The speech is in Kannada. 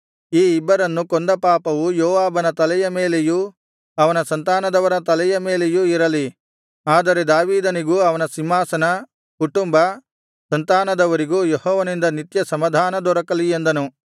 ಈ ಇಬ್ಬರನ್ನೂ ಕೊಂದ ಪಾಪವು ಯೋವಾಬನ ತಲೆಯ ಮೇಲೆಯೂ ಅವನ ಸಂತಾನದವರ ತಲೆಯ ಮೇಲೆಯೂ ಇರಲಿ ಆದರೆ ದಾವೀದನಿಗೂ ಅವನ ಸಿಂಹಾಸನ ಕುಟುಂಬ ಸಂತಾನದವರಿಗೂ ಯೆಹೋವನಿಂದ ನಿತ್ಯ ಸಮಾಧಾನ ದೊರಕಲಿ ಎಂದನು